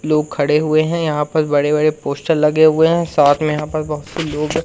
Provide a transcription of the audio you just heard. लोग खड़े हुए हैं यहां पर बड़े बड़े पोस्टर लगे हुए हैं साथ में यहां पर बहुत से लोग--